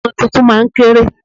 Ọmọ tuntun máa ń kéré.